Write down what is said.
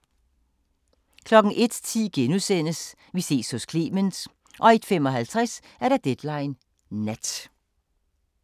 01:10: Vi ses hos Clement * 01:55: Deadline Nat